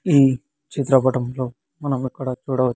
ఈ చిత్రపటంలో మనం ఇక్కడ చూడవో--